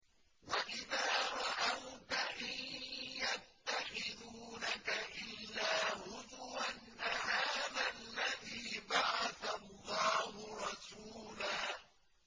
وَإِذَا رَأَوْكَ إِن يَتَّخِذُونَكَ إِلَّا هُزُوًا أَهَٰذَا الَّذِي بَعَثَ اللَّهُ رَسُولًا